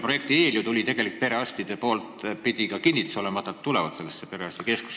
Projekti eel pidi ju olema ka perearstide kinnitus, et nad tulevad sellesse keskusesse?